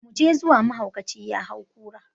Mu je zuwa, mahaukaci ya hau kura.